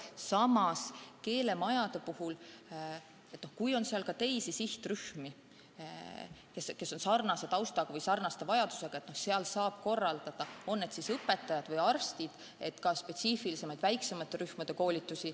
Samas kui keelemajades on ka teisi sihtrühmi, kes on sarnase taustaga või sarnaste vajadustega, on need siis õpetajad või arstid, siis saab neis korraldada spetsiifilisemaid koolitusi väiksematele rühmadele.